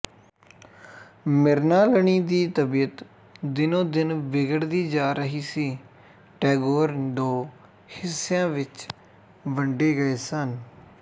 ਮ੍ਰਿਣਾਲਨੀ ਦੀ ਤਬੀਅਤ ਦਿਨੋਦਿਨ ਬਿਗੜਦੀ ਜਾ ਰਹੀ ਸੀ ਟੈਗੋਰ ਦੋ ਹਿੱਸਿਆਂ ਵਿੱਚ ਵੰਡੇ ਗਏ ਸਨ